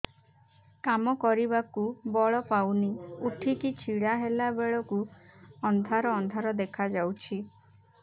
କାମ କରିବାକୁ ବଳ ପାଉନି ଉଠିକି ଛିଡା ହେଲା ବେଳକୁ ଅନ୍ଧାର ଅନ୍ଧାର ଦେଖା ଯାଉଛି